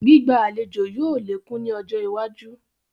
Gbígba àlejò yìí ó lékún ni ọjọ́ iwájú